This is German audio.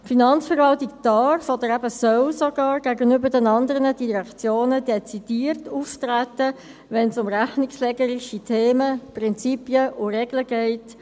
Die Finanzverwaltung darf oder soll eben sogar gegenüber den anderen Direktionen dezidiert auftreten, wenn es um die rechnungslegerische Themen, Prinzipien oder Regeln geht.